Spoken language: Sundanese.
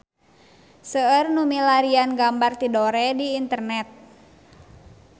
Seueur nu milarian gambar Tidore di internet